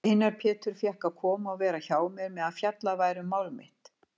Einar Pétur fékk að koma og vera hjá mér meðan fjallað væri um mál mitt.